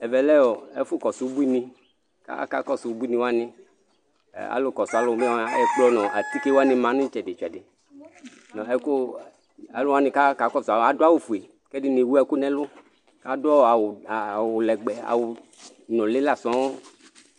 Ɛvɛ lɛ ɛfu kɔsu ubuini akakɔsu ubuini wani alu kɔsu alu buini wani ɛkplɔ nu atike wani ma nu itsɛdi itsɛdi aluwani ku aɣa kakɔsu adu awu ɔfue ku ɛdini ewu ɛku nu ɛlu adu awu nuli la sɔŋ